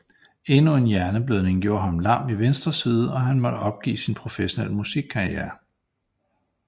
Endnu en hjerneblødning gjorde ham lam i venstre side og han måtte opgive sin professionelle musikkarriere